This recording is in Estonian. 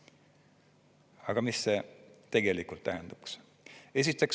Aga mis see tegelikult tähendaks?